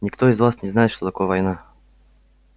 никто из вас не знает что такое война